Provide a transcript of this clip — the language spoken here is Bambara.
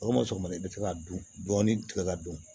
O ma sɔn ka ma i bɛ se ka dun dɔɔni tigɛ ka dun